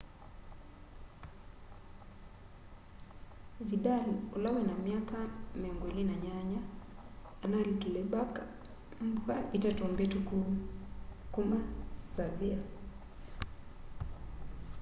vĩdal ũla wĩna myaka 28 analĩkĩle barca mbũa itatũ mbĩtũkũ kũma sevĩlla